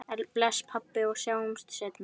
Bless, pabbi, og sjáumst seinna.